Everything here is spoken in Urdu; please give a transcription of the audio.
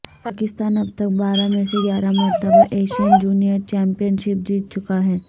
پاکستان اب تک بارہ میں سے گیارہ مرتبہ ایشین جونیئرچیمپئن شپ جیت چکا ہے